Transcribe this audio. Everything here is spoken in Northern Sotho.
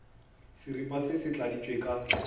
seripa se se tladitšwe ka